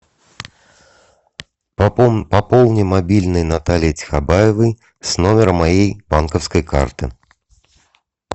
пополни мобильный натальи тихобаевой с номера моей банковской карты